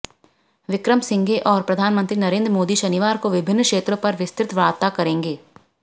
विक्रमसिंघे और प्रधानमंत्री नरेंद्र मोदी शनिवार को विभिन्न क्षेत्रों पर विस्तृत वार्ता करेंगे